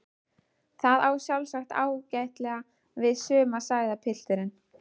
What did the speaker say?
Það á sjálfsagt ágætlega við suma sagði pilturinn.